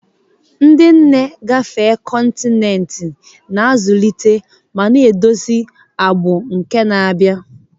Ndị nne gafee kọntinent, na-azụlite ma na-eduzi ọgbọ na-abịa.